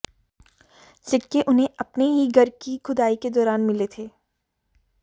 सिक्के उन्हें अपने ही घर की खुदाई के दौरान मिले थे